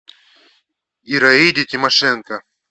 ираиде тимошенко